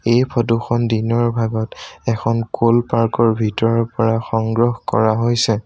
এই ফটো খন দিনৰ ভাগত এখন ক'ল পাৰ্ক ৰ ভিতৰৰ পৰা সংগ্ৰহ কৰা হৈছে।